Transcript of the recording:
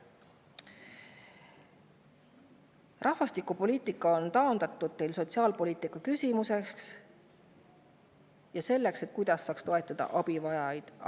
Rahvastikupoliitika on teil taandatud sotsiaalpoliitika küsimuseks: küsimuseks, kuidas toetada abivajajaid.